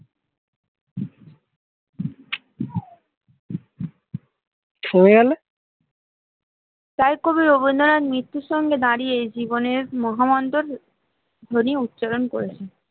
তাই কবি রবীন্দ্রনাথ মৃত্যুর সঙ্গে দাঁড়িয়ে জীবনের মহামন্ত্র ধ্বনি উচ্চারণ করেছেন